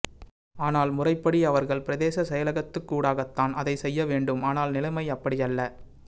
ஆனால் முறைப்படி அவர்கள் பிரதேச செயலகத்துக்கூடாகத்தான் அதைச் செய்ய வேண்டும் ஆனால் நிலைமை அப்படியல்ல